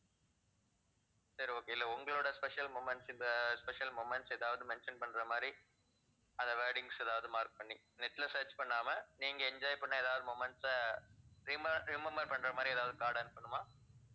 சரி okay இல்ல உங்களோட special moments இந்த special moments ஏதாவது mention பண்ற மாதிரி அந்த wordings ஏதாவது mark பண்ணி net ல search பண்ணாம நீங்க enjoy பண்ண ஏதாவது moments அ rema~ remember பண்ற மாதிரி ஏதாவது card அனுப்பனுமா?